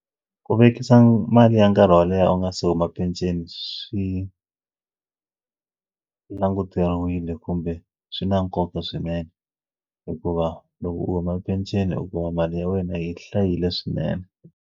Ku vekisa mali ya nkarhi wo leha u nga se huma peceni swi languteriwile kumbe swi na nkoka swinene hikuva loko u huma penceni hikuva mali ya wena yi hlayile swinene.